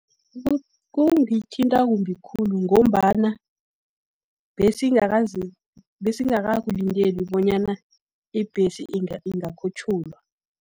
Kungithinta kumbi khulu, ngombana besingakakulindeli bonyana ibhesi ingakhutjhulwa.